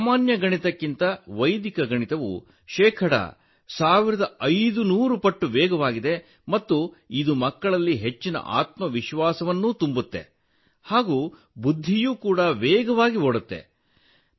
ಈ ಸಾಮಾನ್ಯ ಗಣಿತಕ್ಕಿಂತ ವೈದಿಕ ಗಣಿತವು ಶೇಕಡ ಸಾವಿರದೈದುನೂರು ಪಟ್ಟು ವೇಗವಾಗಿದೆ ಮತ್ತು ಇದು ಮಕ್ಕಳಲ್ಲಿ ಹೆಚ್ಚಿನ ಆತ್ಮವಿಶ್ವಾಸವನ್ನು ತುಂಬುತ್ತದೆ ಹಾಗೂ ಬುದ್ಧಿಯೂ ವೇಗವಾಗಿ ಓಡುತ್ತದೆ